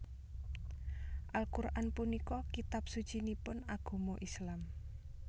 Al Qur an punika kitab sucinipun agama Islam